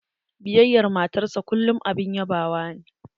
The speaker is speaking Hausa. Biyayar matar sa a kullym abun yabawa ne.